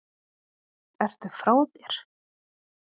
Ertu frá þér!